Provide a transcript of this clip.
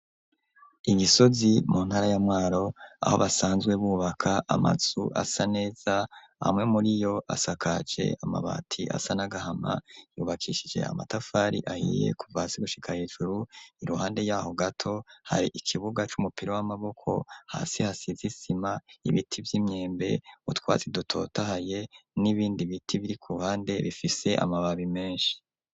I Gisozi mu ntara ya Mwaro aho basanzwe bubaka amazu asa neza amwe muri yo asakaje amabati asa nagahama yubakishije amatafari ahiye kuvasi gushika hejuru iruhande yaho gato hari ikibuga c'umupira w'amaboko hasi hasize isima ibiti vy'imyembe utwazi dutotaye n'ibindi biti biri ku ruhande bifise amababi menshi.